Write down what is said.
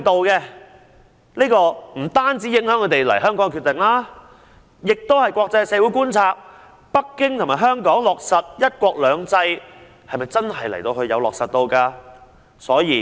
這不單影響他們來港的決定，亦令國際社會質疑北京和香港是否真的有落實"一國兩制"。